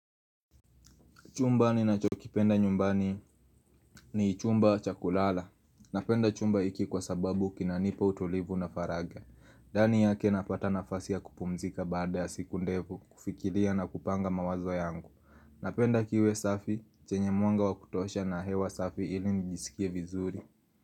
Chumba ninachokipenda nyumbani ni chumba chakulala. Napenda chumba iki kwa sababu kinanipa utolivu na faraga. Ndani yake napata nafasi ya kupumzika baada ya siku ndevu, kufikilia na kupanga mawazo yangu. Napenda kiwe safi, chenye mwanga wakutosha na hewa safi ili nijisikie vizuri.